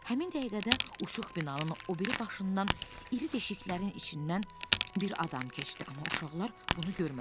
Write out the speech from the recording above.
Həmin dəqiqədə uçux binanın o biri başından iri deşiklərin içindən bir adam keçdi, amma uşaqlar bunu görmədilər.